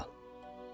Orada qal.